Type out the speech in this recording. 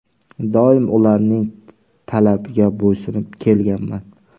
Doim ularning talabiga bo‘ysunib kelganman.